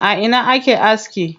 A ina ake aski?